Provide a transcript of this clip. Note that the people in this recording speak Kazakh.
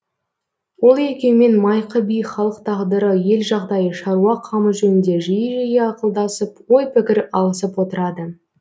ол екеуімен майқы би халық тағдыры ел жағдайы шаруа қамы жөнінде жиі жиі ақылдасып ой пікір алысып отырады